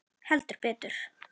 Heldur betur.